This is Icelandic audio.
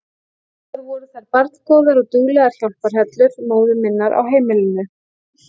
Báðar voru þær barngóðar og duglegar hjálparhellur móður minnar á heimilinu.